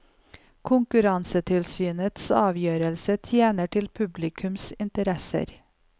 Konkurransetilsynets avgjørelse tjener ikke publikums interesser.